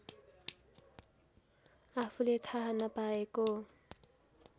आफूले थाहा नपाएको